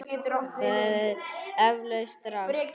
Það er eflaust rangt.